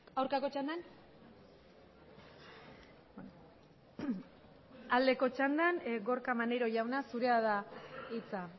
aurkako txandan aldeko txandan gorka maneiro jauna zurea da hitza